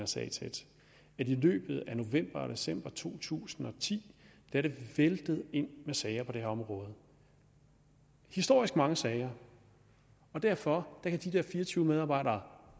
sag tæt at i løbet af november og december to tusind og ti er det væltet ind med sager på det her område historisk mange sager og derfor kan de der fire og tyve medarbejdere